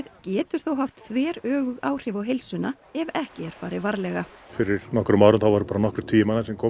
getur þó haft þver öfug áhrif á heilsuna ef ekki er farið varlega fyrir nokkrum árum voru nokkrir tugir sem komu